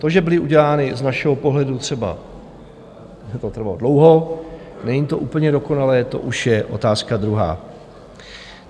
To, že byly udělány z našeho pohledu třeba... že to trvalo dlouho, není to úplně dokonalé, to už je otázka druhá.